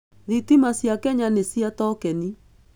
Thitima cia Kenya nĩ cia tokeni.